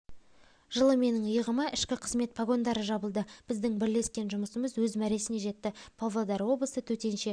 жылы менің иығыма ішкі қызмет погондары жабылды біздің бірлескен жұмысымыз өз мәресіне жетті павлодар облысы төтенше